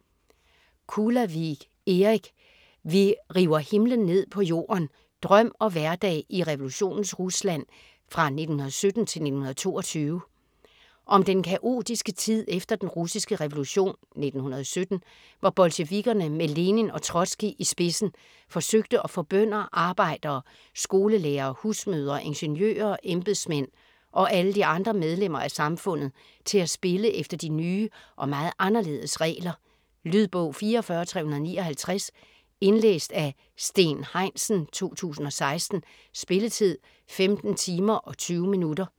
Kulavig, Erik: Vi river himlen ned på jorden: drøm og hverdag i revolutionens Rusland 1917-1922 Om den kaotiske tid efter Den russiske revolution (1917) hvor bolsjevikkerne med Lenin og Trotskij i spidsen forsøgte at få bønder, arbejdere, skolelærere, husmødre, ingeniører, embedsmænd og alle de andre medlemmer af samfundet til at spille efter de nye og meget anderledes regler. Lydbog 44359 Indlæst af Steen Heinsen, 2016. Spilletid: 15 timer, 20 minutter.